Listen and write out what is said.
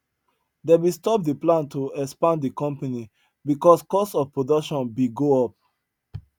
them bin stop the plan to expand the company because cost of production bin go up